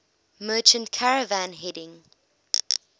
merchant caravan heading